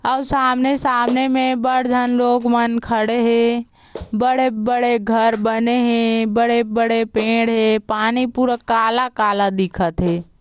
और सामने-सामने में बड़ झन लोग मन खड़े हे बड़े-बड़े घर बने हे बड़े-बड़े पेड़ हे पानी पूरा काला काला दिखत हे।